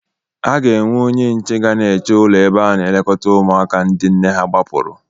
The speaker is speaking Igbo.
Ha ga-ewe onye nche ga na-eche ụlọ ebe a na-elekọta ụmụaka ndị nne ha gbahapụrụ.